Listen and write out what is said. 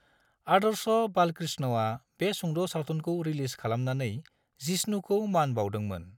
आदर्श बालकृष्णआ बे सुंद' सावथुनखौ रिलिज खालामनानै जिष्णुखौ मान बाउदोंमोन।